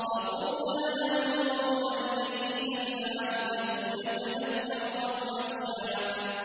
فَقُولَا لَهُ قَوْلًا لَّيِّنًا لَّعَلَّهُ يَتَذَكَّرُ أَوْ يَخْشَىٰ